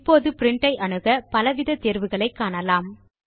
இப்போது பிரின்ட் ஐ அணுக பலவித தேர்வுகளை காணலாம்